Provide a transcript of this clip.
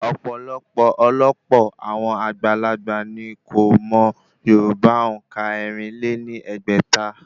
Ọ̀pọ̀lọpọ̀ ọ̀lọpọ̀ àwọn àgbàlagbà ní kò mọ yorùbá òǹkà ẹ̀rin lé ní ẹgbẹ́ta